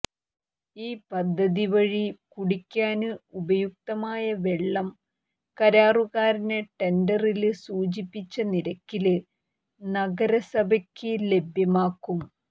ഈ പദ്ധതി വഴി കുടിക്കാന് ഉപയുക്തമായ വെള്ളം കരാറുകാര് ടെണ്ടറില് സൂചിപ്പിച്ച നിരക്കില് നഗരസഭയ്ക്ക് ലഭ്യമാക്കും